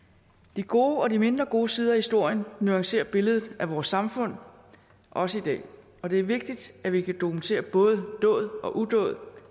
de gode og de mindre gode sider af historien nuancerer billedet af vores samfund også i dag og det er vigtigt at vi kan dokumentere både dåd og udåd